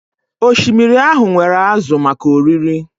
Osimiri ahụ nwere ázụ̀ maka oriri